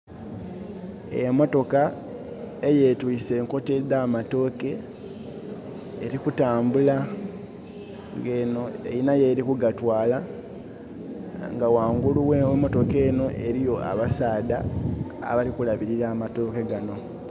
Emotoka eyeetwiise' nkota edhamatooke elikutambula, nge'no erina welikugatwaala, nga wangulu we'motoka eno eriyo abasaadha abali kulabirira amatooke gano.